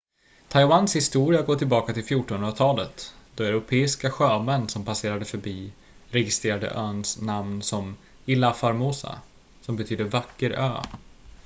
taiwans historia går tillbaka till 1400-talet då europeiska sjömän som passerade förbi registrerade öns namn som ilha formosa som betyder vacker ö